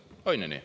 On ju nii?